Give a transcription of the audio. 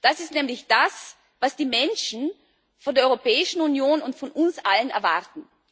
Das ist nämlich das, was die Menschen von der Europäischen Union und von uns allen erwarten.